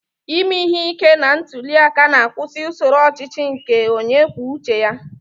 Ime ihe ike na ntuli aka na-akwụsị usoro ọchịchị onye kwuo uche ya.